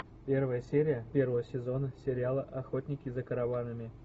первая серия первого сезона сериала охотники за караванами